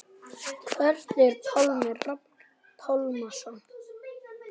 Hvert fer Pálmi Rafn Pálmason?